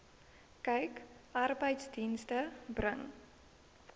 kyk arbeidsdienste bring